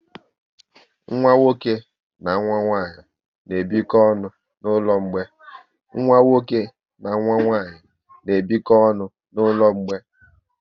Nwa nwoke na nwa nwanyị n'ebiko ọnụ n'ụlọ mgbei